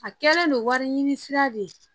A kɛlen don wari ɲini sira de ye